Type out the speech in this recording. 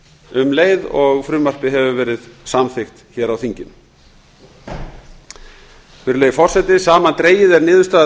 um leið og frumvarpið hefur verið samþykkt á þinginu virðulegi forseti samandregið er niðurstaða